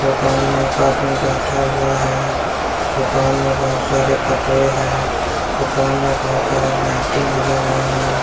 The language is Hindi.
दुकान में एक आदमी बैठा हुआ है दुकान में बहुत सारे कपड़े है दुकान में बहुत सारे लाइटिंग लगे हुए है।